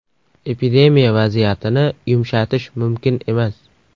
Epidemiya vaziyatini yumshatish mumkin emas.